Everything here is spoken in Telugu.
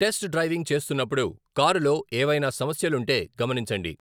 టెస్ట్ డ్రైవింగ్ చేస్తున్నప్పుడు, కారులో ఏవైనా సమస్యలుంటే గమనించండి.